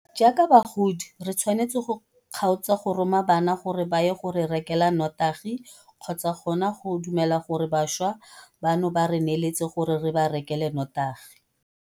Jaaka bagodi re tshwanetse go kgaotsa go roma bana gore ba ye go re rekela notagi kgotsa gona go dumela gore bašwa bano ba re neeletse gore re ba rekele notagi.